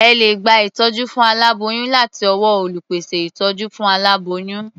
Ẹ lè gba ìtọ́jú fún aláboyún láti ọwọ́ olùpèsè ìtọ́jú fún aláboyún.